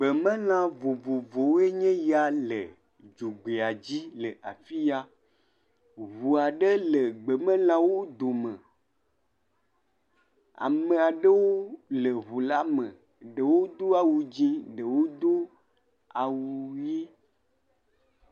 Gbemelã vovovowoe nye ya le dzogbea dzi le afi ya. Ŋu aɖe le gbemelãwo dome. Ame aɖewo le ŋula me. Ɖewo do awu dzẽ, ɖewo do awu ʋi.